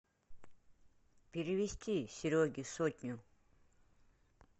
перевести сереге сотню